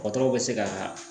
Dɔgɔtɔrɔw bɛ se ka